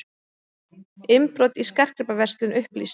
Innbrot í skartgripaverslun upplýst